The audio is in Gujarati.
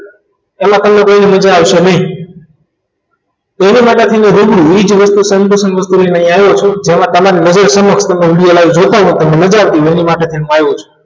માં તમને કંઈ મજા આવશે નહીં એના માટે daily એ જ વસ્તુ sem વસ્તુનો નહીં આવે શું તેમાં તમને live video જોતા હોય તો તેની માટે હું લાવ્યો છું